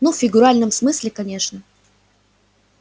ну в фигуральном смысле конечно